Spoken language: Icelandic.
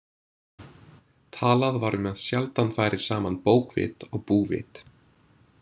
Talað var um að sjaldan færi saman bókvit og búvit.